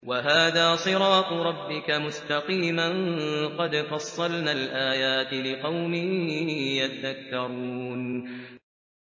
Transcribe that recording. وَهَٰذَا صِرَاطُ رَبِّكَ مُسْتَقِيمًا ۗ قَدْ فَصَّلْنَا الْآيَاتِ لِقَوْمٍ يَذَّكَّرُونَ